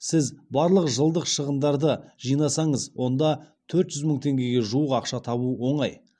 сіз барлық жылдық шығындарды жинасаңыз онда төрт жүз мың теңгеге жуық ақша табу оңай